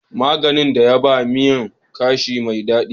Maggin ya ba miyan kamshi mai dadi.